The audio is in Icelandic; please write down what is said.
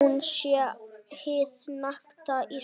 Hún sé hið nakta Ísland.